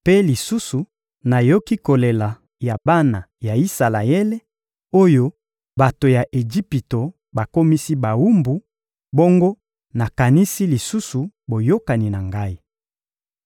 Mpe lisusu nayoki kolela ya bana ya Isalaele oyo bato ya Ejipito bakomisi bawumbu, bongo nakanisi lisusu boyokani na Ngai.